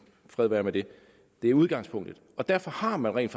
fred være med det det er udgangspunktet og derfor har man rent